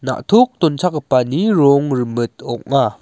na·tok donchakgipani rong rimit ong·a.